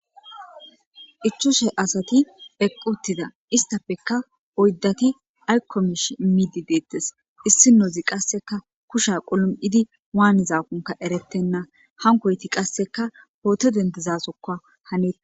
5 ast eqid utida isitappeka 4ti ayko mishe idimid de'osona issinez qaseka kusha qalam'id wanizakonka eretena hankoyti qaseka poto dendidzasoka hanetes.